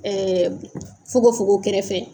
Ɛɛ fukonfukon kɛrɛfɛ.